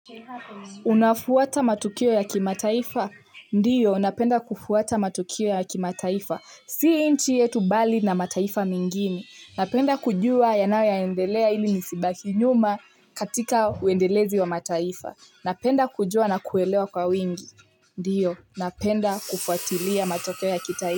Unafuata matukio ya kimataifa? Ndiyo, napenda kufuata matukio ya kimataifa. Si nchi yetu bali na mataifa mengine. Napenda kujua yanayo endelea ili nisibaki nyuma katika uendelezi wa mataifa. Napenda kujua na kuelewa kwa wingi. Ndiyo, napenda kufuatilia matokeo ya kitaifa.